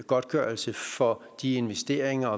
godtgørelse for de investeringer